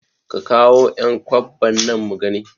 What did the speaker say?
Ka kawo ƴan kwabban nan mugani